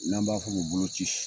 N'an b'a f'o ma bolo ci